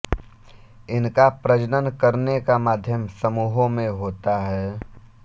इनका प्रजनन करने का माध्यम समूहों में होता है